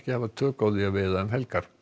tök á því að veiða um helgar